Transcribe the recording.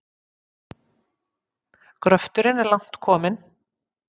Gröfturinn er langt kominn.